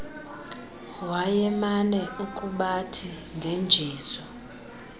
wayemane ukubathi ngenjezu